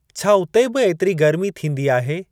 छा उते बि एतिरी गर्मी थींदी आहे ?